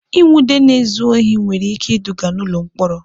Ịnwụde na-ezu ohi nwere ike iduga n'ụlọ mkpọrọ.